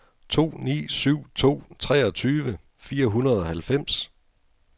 to ni syv to treogtyve fire hundrede og halvfems